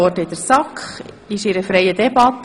Wir führen eine freie Debatte.